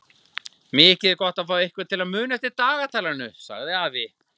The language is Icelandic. Mikið er gott að fá einhvern til að muna eftir dagatalinu sagði afi.